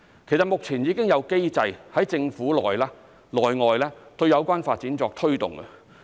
其實，目前已有機制在政府內外對有關發展作推動。